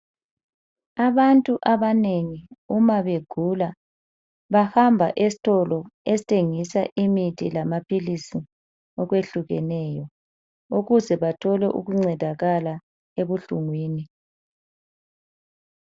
Abantu abanengi uma begula bahamba esitolo esithengisa imithi lamaphilisi okwehlukeneyo ukuze bathole ukuncedakala ebuhlungwini .